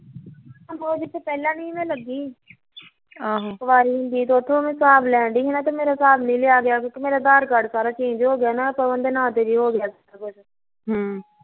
ਉਹ ਜਿੱਥੇ ਮੈਂ ਪਹਿਲਾਂ ਨੀ ਸੀ ਲੱਗੀ ਆਹ ਤੇ ਕੁਵਾਰੀ ਹੁੰਦੀ ਉੱਥੋਂ ਮੈਂ ਹਿਸਾਬ ਲੈਣ ਡਈ ਸੀ ਤੇ ਉੱਥੋਂ ਮੇਰਾ ਹਿਸਾਬ ਨੀ ਲਿਆ ਗਿਆ ਅਧਾਰ ਕਾਰਡ ਸਾਰਾ change ਹੋਗਿਆ ਨਾ ਪਵਨ ਦੇ ਨਾ ਤੇ ਹੋਗਿਆ ਸਾਰਾ ਕੁਛ ਹਮ